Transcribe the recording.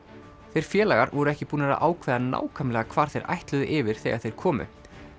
þeir félagar voru ekki búnir að ákveða nákvæmlega hvar þeir ætluðu yfir þegar þeir komu